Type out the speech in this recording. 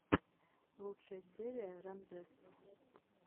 лучшая серия рамзесств